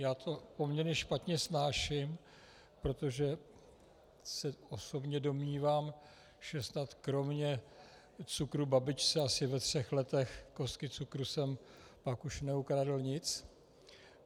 Já to poměrně špatně snáším, protože se osobně domnívám, že snad kromě cukru babičce asi ve třech letech, kostky cukru, jsem pak už neukradl nic.